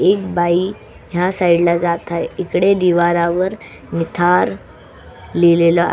एक बाई ह्या साइड ला जात आहे इकडे दिवारावर निथार लिहिलेल --